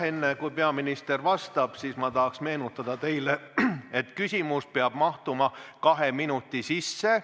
Enne kui peaminister vastab, ma tahan teile meenutada, et küsimus peab mahtuma kahe minuti sisse.